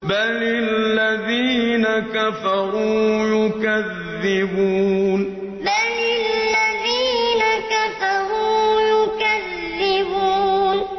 بَلِ الَّذِينَ كَفَرُوا يُكَذِّبُونَ بَلِ الَّذِينَ كَفَرُوا يُكَذِّبُونَ